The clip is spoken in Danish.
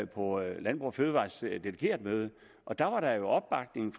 på landbrug fødevarers delegeretmøde og der var der jo opbakning